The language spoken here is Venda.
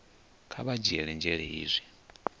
kha vha dzhiele nzhele hezwi